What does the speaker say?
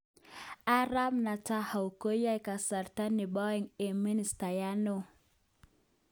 Arap Netanyahu koyoe kasarta nebo aeng ko ministayat neo